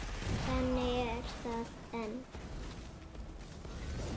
Þannig er það enn.